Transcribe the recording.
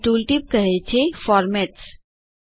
અહીં ટૂલટીપ કહે છે ફોર્મેટ્સ